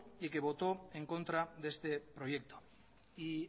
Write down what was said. y que votó en contra de este proyecto y